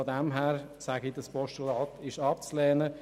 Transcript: Daher ist dieses Postulat abzulehnen.